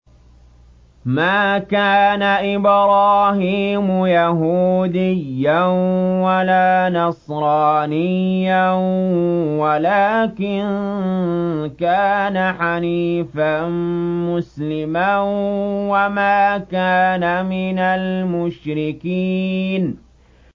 مَا كَانَ إِبْرَاهِيمُ يَهُودِيًّا وَلَا نَصْرَانِيًّا وَلَٰكِن كَانَ حَنِيفًا مُّسْلِمًا وَمَا كَانَ مِنَ الْمُشْرِكِينَ